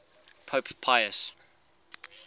pope pius